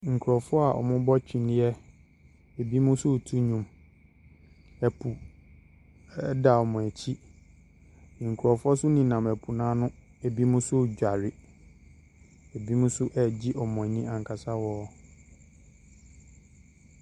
Nkurɔfoɔ a wɔrebɔ twene. Binom nso reto nnwom. Ɛpo sa wɔn akyi. Nkurɔfoɔ nso nenam po no ani. Ɛbinom nso redware. Ɛbinom nso regye wɔn ani ankasa wɔ.